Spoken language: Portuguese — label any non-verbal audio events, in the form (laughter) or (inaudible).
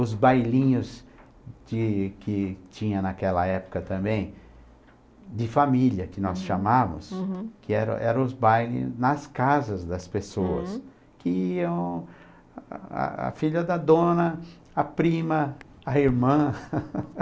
Os bailinhos que que tinha naquela época também, de família, que nós chamávamos, uhum, que era eram os bailes nas casas das pessoas, uhum, que iam a filha da dona, a prima, a irmã. (laughs)